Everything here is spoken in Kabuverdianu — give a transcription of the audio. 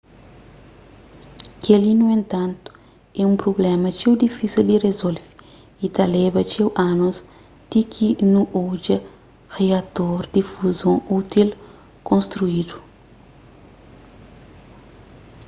kel-li nu entantu é un prubléma txeu difísil di rizolve y ta leba txeu anus ti ki nu odja riator di fuzon útil konstrídu